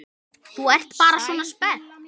Þú ert bara svona spennt.